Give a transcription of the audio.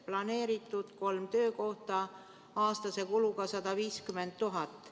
Planeeritud on kolm töökohta aastase kuluga 150 000 eurot.